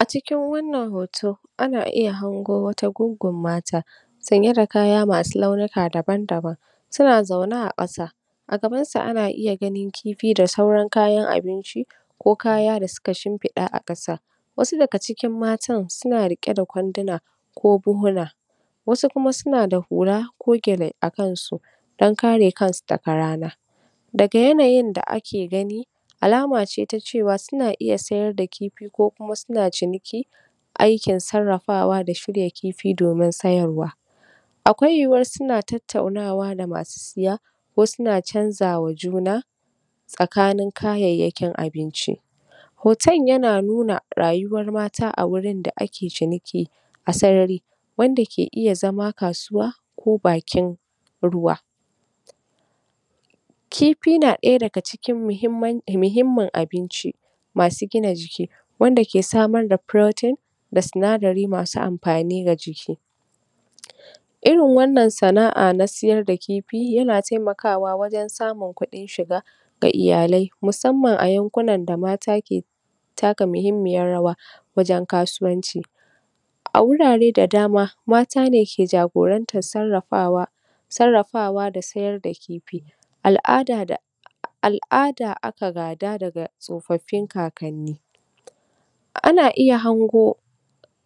A cikin wannan hoto, ana iya hango wata guggun mata, sanye da kaya masu launuka daban-daban suna zaune a ƙasa. A gaban su ana iya ganin kifi da sauran kayan abinci, ko kaya da suka shimfiɗa a ƙasa. Wasu daga cikin matan suna riƙe da kwanduna, ko buhuna Wasu kuma suna da hula ko gyale a kan su, don ka re kansu daka rana. Daga yanayin da ake gani, alama ce ta cewa suna iya sayar da kifi, ko kuma suna ciniki, aikin sarrafawa da shirya kifi, domin sayarwa. Akwai yuyuwar suna tattaunawa da masu siya, ko suna chanzawa juna tsakanin kayayyakin abinci. Hoton yana nuna rayuwar mata, a wurin da ake ciniki a sarari, wanda ke iya zama kasuwa, ko bakin ruwa. Kifi na ɗaya daga cikin muhimmin abinci masu gina jiki, wanda ke samar da protein da sinadari masu amfani ga jiki. Irin wannan sana'a na siyar da kifi, yana taimakawa wajan samun kuɗin shiga ga iyalai, musamman a yankunan da mata ke taka muhimmiyar rawa wajan kasuwanci. A wurare da dama, mata ne ke jagorantar sarrafawa sarrafawa da sayar da kifi. Al'ada da al'ada aka gada daga tsofaffin kakanni. Ana iya hango